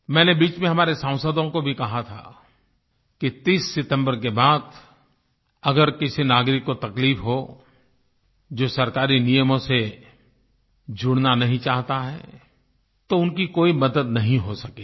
मैंने बीच में हमारे सांसदों को भी कहा था कि 30 सितम्बर के बाद अगर किसी नागरिक को तकलीफ़ हो जो सरकारी नियमों से जुड़ना नही चाहता है तो उनकी कोई मदद नही हो सकेगी